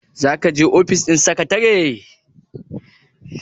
za ka je ofis ɗin sekatare?